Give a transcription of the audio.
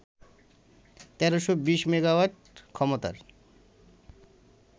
১৩২০ megawatt ক্ষমতার